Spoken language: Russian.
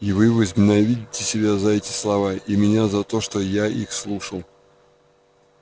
и вы возненавидите себя за эти слова и меня за то что я их слушал